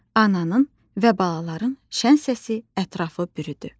Ananın və balaların şən səsi ətrafı bürüdü.